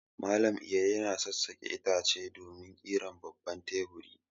Malam Iro yana sassaƙe itace domin ƙirar babban teburi.